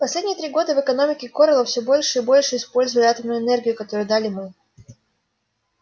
последние три года в экономике корела все больше и больше использовали атомную энергию которую дали мы